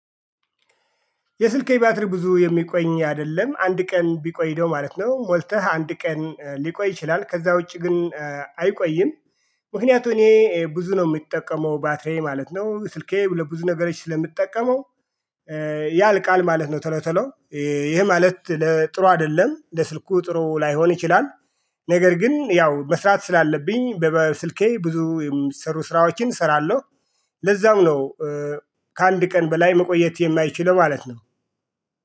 የስልክ የባትሪ ብዙ የሚቆይ አይደለም አንድ ቀን ቢቆይ ነው ማለት ነው ሞልተህ አንድ ቀን ሊቆይ ይችላል ከዛ ውጪ ግን አይቆይም። ምክንያቱም እኔ ብዙ ነው የምጠቀመው ባትሪዬ ማለት ነው ስልኬ ለብዙ ነገሮች ስለምጠቀመው ያልቃል ማለት ነው። ቶሎ ቶሎ ይሄ ማለት ለጥሩ አይደለም ለስልኩ ጥሩ ላይሆን ይችላል። ነገር ግን ያው መስራት ስላለብኝ በስልኬ ብዙ የሚሰሩ ስራዎችን እሰራለሁ። ለዛም ነው ከአንድ ቀን በላይ መቆየት የማይችለው ማለት ነው